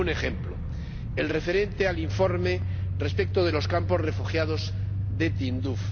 Y pongo un ejemplo el referente al informe respecto de los campos de refugiados de Tinduf.